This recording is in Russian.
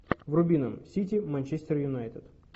вруби нам сити манчестер юнайтед